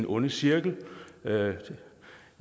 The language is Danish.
ond cirkel jeg